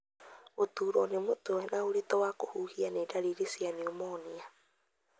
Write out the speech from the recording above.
Gũturwo nĩ mũtwe na ũritũ wa kũhuhia nĩ ndariri cia pneumonia.